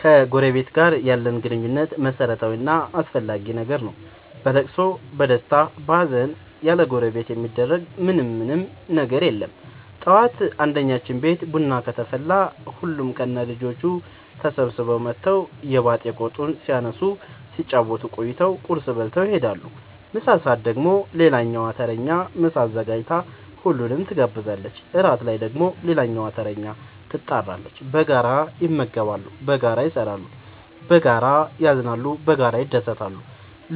ከጎረበት ጋር ያለን ግንኙነት መረታዊ እና አስፈላጊ ነገር ነው። በለቅሶ በደስታ በሀዘን ያለጎረቤት የሚደረግ ምን ምንም ነገር የለም ጠዋት አንድኛችን ቤት ቡና ከተፈላ ሁሉም ከነ ልጆቹ ተሰብስበው መተው የባጥ የቆጡን ሲያነሱ ሲጫወቱ ቆይተው ቁርስ በልተው ይሄዳሉ። ምሳ ሰአት ደግሞ ሌላኛዋ ተረኛ ምሳ አዘጋጅታ ሁሉንም ትጋብዛለች። እራት ላይ ደግሞ ሌላኛዋተረኛ ትጣራለች። በጋራ ይመገባሉ በጋራ ይሰራሉ። በጋራ ያዝናሉ በጋራ ይደሰታሉ